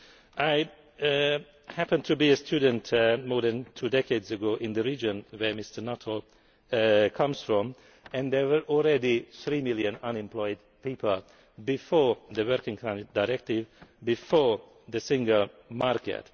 rules. I happened to be a student more than two decades ago in the region where Mr Nuttall comes from and there were already three million unemployed people before the Working Time Directive, before the single